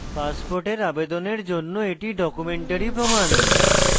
passport আবেদনের জন্য এটি documentary প্রমাণ